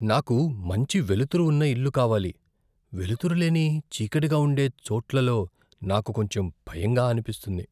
"నాకు మంచి వెలుతురు ఉన్న ఇల్లు కావాలి, వెలుతురు లేని చీకటిగా ఉండే చోట్లలో నాకు కొంచెం భయంగా అనిపిస్తుంది."